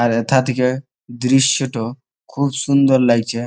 আর হেথা থেকে দৃশ্যটো খুব সুন্দর লাগছে।